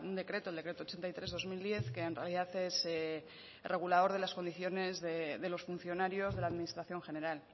decreto el decreto ochenta y tres barra dos mil diez que en realidad es el regulador de las condiciones de los funcionarios de la administración general